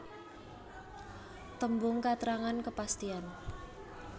Tembung katrangan kepastian